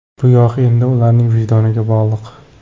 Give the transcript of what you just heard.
Bu yog‘i endi ularning vijdoniga bog‘liq.